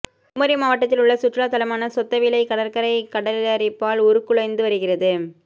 குமரி மாவட்டத்தில் உள்ள சுற்றுலா தலமான சொத்தவிளை கடற்கரை கடலரிப்பால் உருக்குலைந்து வருகிறது